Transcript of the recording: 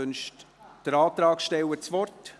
Wünscht der Antragsteller das Wort?